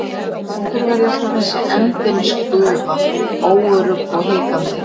Af hverju var ég alltaf þessi endemis gufa, óörugg og hikandi?